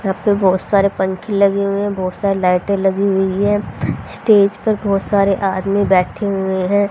यहां पे बहुत सारे पंखे लगे हुए हैं बहुत सारे लाइटें लगी हुई हैं स्टेज पर बहुत सारे आदमी बैठे हुए हैं।